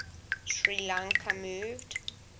sri lanka moved